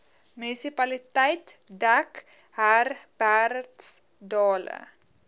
munisipaliteit dek herbertsdale